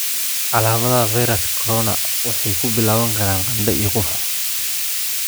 calaamadaha fayraska corona waxay ku bilaaban karaan qandho iyo qufac.